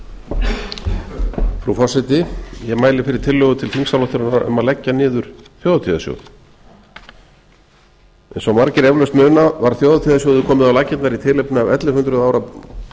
frú forseti ég mæli fyrir tillögu til þingsályktunar um að leggja niður þjóðhátíðarsjóð eins og margir eflaust muna var þjóðhátíðarsjóði komið á laggirnar í tilefni af ellefu hundruð ára